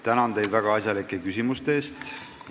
Tänan teid väga asjalike küsimuste eest!